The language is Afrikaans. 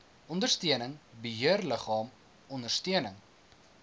ondersteuning beheerliggaam ondersteuning